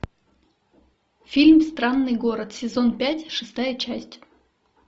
фильм странный город сезон пять шестая часть